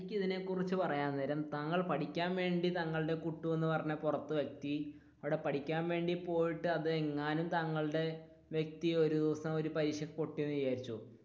എനിക്കിതിനെ കുറിച്ച് പറയാൻ നേരം താങ്കളുടെ കുട്ടു എന്ന് പറഞ്ഞ പുറത്തെ വ്യക്തി അവിടെ പഠിക്കാൻ വേണ്ടി പോയിട്ട് അതെങ്ങാനും താങ്കളുടെ വ്യകതി ഒരു ദിവസം ഒരു പരീക്ഷക്ക് പൊട്ടി എന്ന് വിചാരിക്ക്,